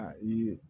Aa i ye